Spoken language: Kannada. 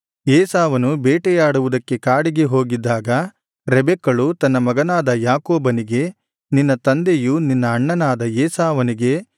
ಏಸಾವನು ಬೇಟೆಯಾಡುವುದಕ್ಕೆ ಕಾಡಿಗೆ ಹೋಗಿದ್ದಾಗ ರೆಬೆಕ್ಕಳು ತನ್ನ ಮಗನಾದ ಯಾಕೋಬನಿಗೆ ನಿನ್ನ ತಂದೆಯು ನಿನ್ನ ಅಣ್ಣನಾದ ಏಸಾವನಿಗೆ